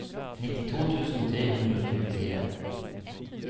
nittito tusen tre hundre og tjuefire